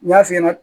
N y'a f'i ɲɛna